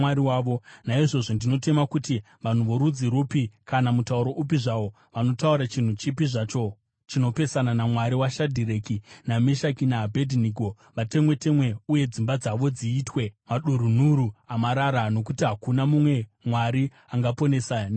Naizvozvo ndinotema kuti vanhu vorudzi rupi kana mutauro upi zvawo vanotaura chinhu chipi zvacho chinopesana naMwari waShadhireki naMeshaki naAbhedhinego vatemwe-temwe uye dzimba dzavo dziitwe madurunhuru amarara, nokuti hakuna mumwe mwari angaponesa nenzira iyi.”